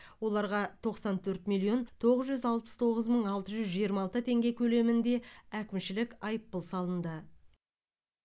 оларға тоқсан төрт миллион тоғыз жүз алпыс тоғыз мың алты жүз жиырма алты теңге көлемінде әкімшілік айыппұл салынды